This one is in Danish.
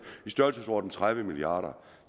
i størrelsesordenen tredive milliard